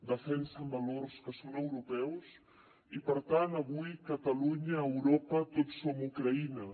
defensen valors que són europeus i per tant avui catalunya europa tots som ucraïna